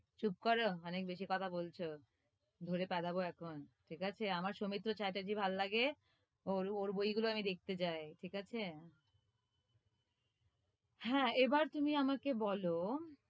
চুপ করো, অনেক বেশি কথা বলছ, ধরে পেদাব এখন। ঠিক আছে? আমার সৌমিত্র চ্যাটার্জি ভালো লাগে, ওর, ওর বইগুলি আমি দেখতে যাই। ঠিক আছে? হ্যাঁ, এবার তুমি আমাকে বলো,